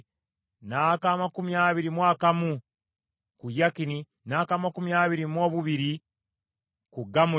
ak’amakumi abiri mu kamu ku Yakini, n’ak’amakumi abiri mu bubiri ku Gamuli,